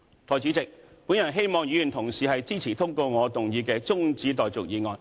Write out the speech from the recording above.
代理主席，我希望議員同事支持通過我動議的中止待續議案。